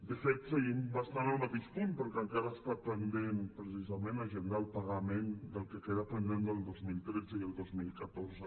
de fet seguim bastant al mateix punt perquè encara està pendent precisament agendar el pagament del que queda pendent del dos mil tretze i el dos mil catorze